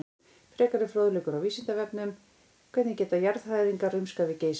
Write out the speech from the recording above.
Frekari fróðleikur á Vísindavefnum: Hvernig geta jarðhræringar rumskað við Geysi?